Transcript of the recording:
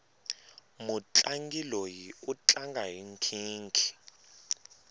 mutlangi loyi u tlanga hi nkhinkhi